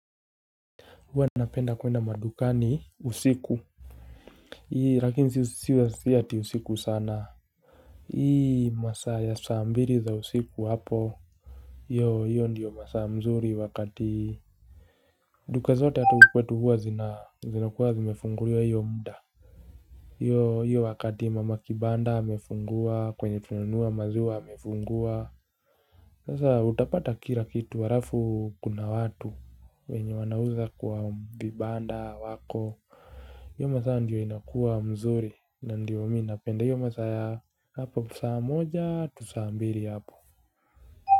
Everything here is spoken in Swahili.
Huwa napenda kwenda madukani usiku. Ii, lakini si ati usiku sana. Hii, masaa ya saa mbili za usiku hapo. Yo, hiyo ndiyo masaa mzuri wakati. Duka zote hata kwetu huwa zina, zinakuwa zimefungulia hiyo muda. Yo, hiyo wakati mama kibanda amefungua, kwenye tunanunua maziwa amefungua. Sasa utapata kila kitu, alafu kuna watu. Wenye wanauza kwa vibanda wako. Hio masaa ndiyo inakua mzuri na ndiyo mimi napenda hio masaa hapo saa moja to saa mbili hapo.